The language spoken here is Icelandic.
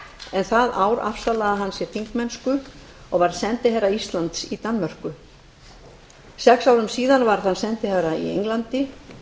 en það ár afsalaði hann sér þingmennsku og varð sendiherra íslands í danmörku sex árum síðar varð hann sendiherra í englandi